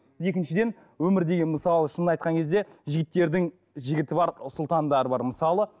екіншіден өмір деген мысалы шынын айтқан кезде жігіттердің жігіті бар сұлтандары бар мысалы